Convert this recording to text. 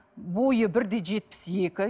бойы бір де жетпіс екі